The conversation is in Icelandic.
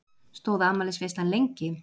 Stóð afmælisveislan lengi?